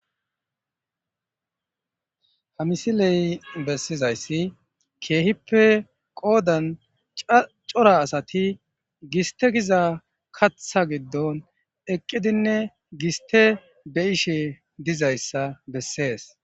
hamisiley bessizayssi keehippe qoodan cora asati giste giza katha giddon eqqidinne giste be ishe dizayssa bessees